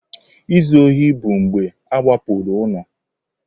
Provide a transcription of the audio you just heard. Izu ohi bụ mgbe a wakporo ụlọ.